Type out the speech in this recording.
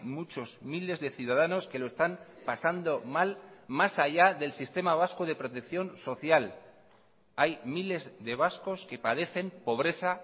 muchos miles de ciudadanos que lo están pasando mal más allá del sistema vasco de protección social hay miles de vascos que padecen pobreza